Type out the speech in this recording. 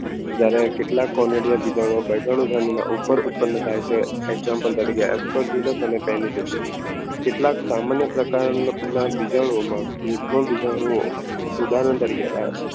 જ્યારે કેટલાક કોલેજીયન બીજાનું ઉપર ઉત્પન્ન થાય છે. example તરીકે કેટલાક સામાન્ય પ્રકારના બીજાણુઓમાં યુગ્મ બીજાણુ ઉદાહરણ તરીકે